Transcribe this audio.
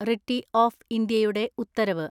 Ritty of ഇന്ത്യയുടെ ഉത്തരവ്.